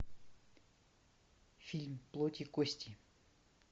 фильм плоть и кости